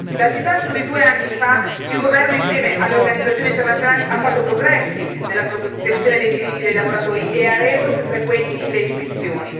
Dal disastro di due anni fa il governo, insieme alle organizzazioni internazionali, ha fatto progressi nella protezione dei diritti dei lavoratori e ha reso più frequenti le ispezioni.